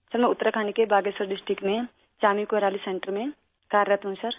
سر میں اتراکھنڈ کے باگیشور ضلع میں چانی کورالی سنٹر میں ملازم ہوں